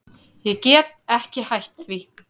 Ég get ekki hætt því.